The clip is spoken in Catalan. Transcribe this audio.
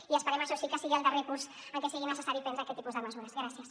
i esperem això sí que sigui el darrer curs en què sigui necessari prendre aquest tipus de mesures gràcies